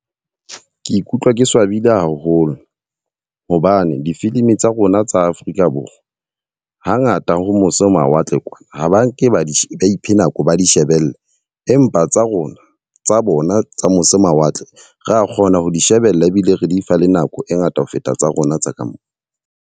Ke ikutlwa ke swabile haholo. Hobane difilimi tsa rona tsa Afrika Borwa ha ngata ho mose ho mawatle kwana ha ba nke ba iphe nako ba di shebelle. Empa tsa rona tsa bona tsa mose mawatle, ra kgona ho di shebella ebile re di fa le nako e ngata ho feta tsa rona tsa ka mo.